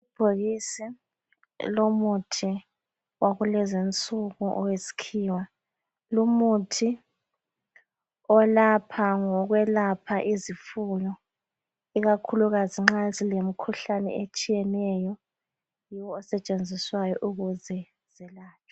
Ibhokisi elomuthi wakulezinsuku owesikhiwa. Lumuthi olapha ngokwelapha izifuyo ikakhulukazi nxa zilemkhuhlane etshiyeneyo yiwo osetshenziswayo ukuze zelatshwe